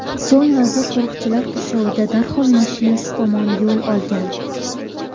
So‘ng vazir qo‘riqchilar qurshovida darhol mashinasi tomon yo‘l olgan.